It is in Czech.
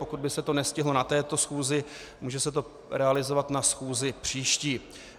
Pokud by se to nestihlo na této schůzi, může se to realizovat na schůzi příští.